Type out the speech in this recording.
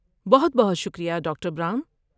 بہت بہت شکریہ ڈاکٹر براؤن۔